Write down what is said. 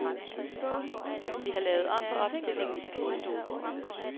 Vi har lavet om på opstillingen i spisestuen.